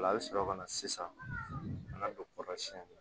Ola a bɛ sɔrɔ ka na sisan ka na don kɔrɔsiyɛnni na